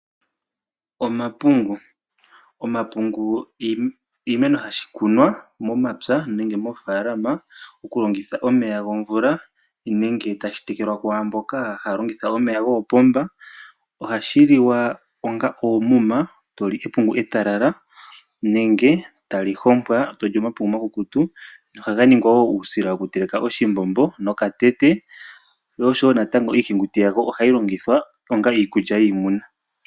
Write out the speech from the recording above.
Omapungu. Omapungu oshimeno hashi kunwa momapya nenge moofaalama okulongitha omeya gomvula nenge tashi tekelwa kwaamboka haya longitha omeya goopomba. Ohashi liwa onga oomuma toli epungu etalala nenge tali hompwa toli omapungu omakukutu. Ohaga ningwa wo uusila wokuteleka oshimbombo nokatete. Iihenguti yawo ohayi longithwa onga iikulya yiimuna.